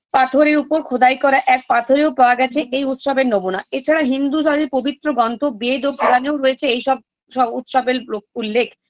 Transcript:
পাথরের উপর খোদাই করা এক পাথরেও পাওয়া গেছে এই উৎসবের নমুনা এছাড়া হিন্দুধারি পবিত্র গন্থ বেদ ও পুরানেও রয়েছে এইসব শ উৎসবের ও উল্লেখ